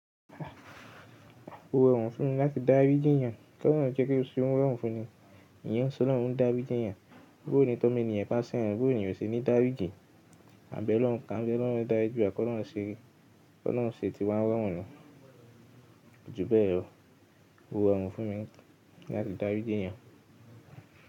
O rọrùn fún mi láti dáríji èèyàn, kí ọlọ́run jẹ́ kí o se ni irorun fún mi, eeyan n se ọlọ́run o n dáríji èèyàn, bó ni toọmọ ènìyàn ta sẹ́yàn, bó ni eeyàn o ṣe ní dáríji, àbẹ́ ọlọ́run, ko'lọ́run dáriji wa, kọ́ lọ́run ṣe tí wa n rọrùn na. Jú bẹ́yẹ̀ lo, ko rọrùn fún mi láti dáríji èèyàn.